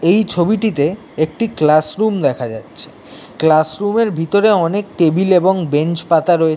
এই ছবিটিতে একটি ক্লাস রুম দেখা যাচ্ছে ক্লাস রুম এর ভিতরে অনেক টেবিল এবং বেঞ্চ পাতা রয়ে--